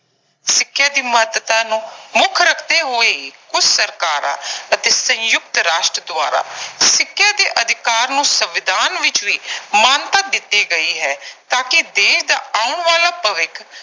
ਸਿੱਖਿਆ ਦੀ ਮਹੱਤਤਾ ਨੂੰ ਮੁੱਖ ਰੱਖਦੇ ਹੋਏ ਕੁਝ ਸਰਕਾਰਾਂ ਅਤੇ ਸੰਯੁਕਤ ਰਾਸ਼ਟਰ ਦੁਆਰਾ ਸਿੱਖਿਆ ਦੇ ਅਧਿਕਾਰ ਨੂੰ ਸੰਵਿਧਾਨ ਵਿੱਚ ਵੀ ਮਾਨਤਾ ਦਿੱਤੀ ਗਈ ਹੈ ਤਾਂ ਕਿ ਦੇਸ਼ ਦਾ ਆਉਣ ਵਾਲਾ ਭਵਿੱਖ